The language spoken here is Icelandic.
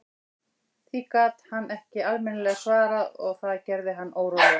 Því gat hann ekki almennilega svarað og það gerði hann órólegan.